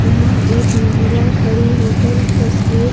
यहां एक महिला खड़ी हो कर तस्वीर--